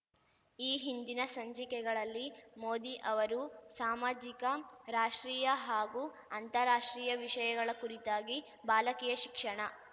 ಈ ಹಿಂದಿನ ಸಂಚಿಕೆಗಳಲ್ಲಿ ಮೋದಿ ಅವರು ಸಾಮಾಜಿಕ ರಾಷ್ಟ್ರೀಯ ಹಾಗೂ ಅಂತಾರಾಷ್ಟ್ರೀಯ ವಿಷಯಗಳ ಕುರಿತಾಗಿ ಬಾಲಕಿಯ ಶಿಕ್ಷಣ